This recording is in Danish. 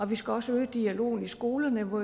vi skal også øge dialogen i skolerne hvor